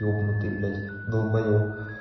ёбнутый блять долбаёб